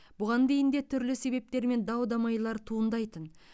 бұған дейін де түрлі себептермен дау дамайлар туындайтын